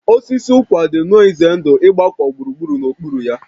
Osisi ụkwa dị nnọọ ize ndụ ịgbakọ gburugburu n'okpuru ya